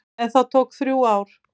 En það tók þrjú ár.